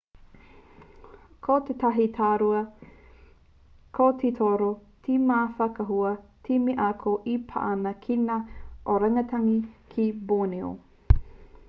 ko tētahi tauira ko te toro te mau whakaahua me te ako e pā ana ki ngā orangitangi ki borneo